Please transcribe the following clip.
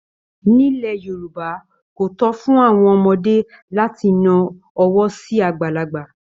Nílẹ̀ Yorùbá, kò tó fún àwọn ọmọdé láti na ọwọ́ sí àgbàlagbà